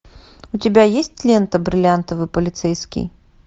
у тебя есть лента бриллиантовый полицейский